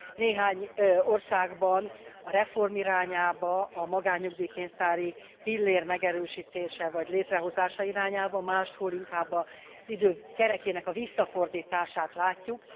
Néhány országban a reform irányában a magánnyugdíj pénztári pillér megerősítése vagy létrehozása irányában, máshol inkább az idő kerekének a visszafordítását látjuk.